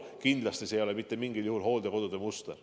Kindlasti see ei ole mitte mingil juhul hooldekodude muster.